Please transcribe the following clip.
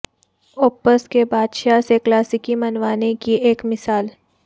اوپپس کے بادشاہ سے کلاسیکی منوانے کی ایک مثال